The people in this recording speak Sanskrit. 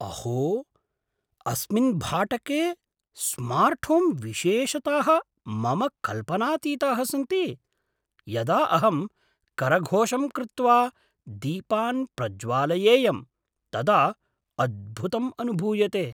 अहो, अस्मिन् भाटके स्मार्ट्होम् विशेषताः मम कल्पनातीताः सन्ति, यदा अहं करघोषं कृत्वा दीपान् प्रज्वालयेयं तदा अद्भुतम् अनुभूयते!